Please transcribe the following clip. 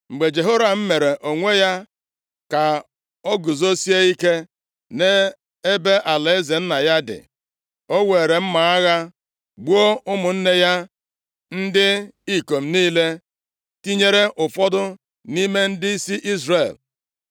Mgbe Jehoram mere onwe ya ka o guzosie ike nʼebe alaeze nna ya dị, o weere mma agha gbuo ụmụnne ya ndị ikom niile, tinyere ụfọdụ nʼime ndịisi Izrel.